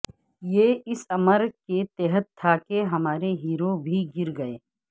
یہ اس امر کے تحت تھا کہ ہمارے ہیرو بھی گر گئے